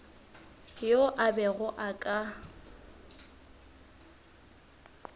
yo a bego a ka